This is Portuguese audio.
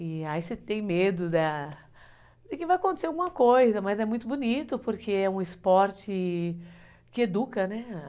E aí você tem medo da de que vai acontecer alguma coisa, mas é muito bonito, porque é um esporte que educa, né?